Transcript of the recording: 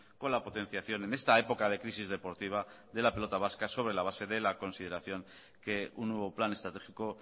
con la potenciación en esta época de crisis deportiva de la pelota vasca sobre la base de la consideración que un nuevo plan estratégico